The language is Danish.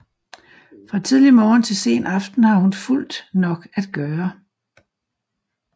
Fra tidlig morgen til sen aften har hun fuldt nok at gøre